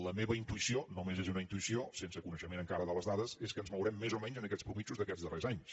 la meva intuïció només és una intuïció sense coneixement encara de les dades és que ens mourem més o menys en aquestes mitjanes d’aquests darrers anys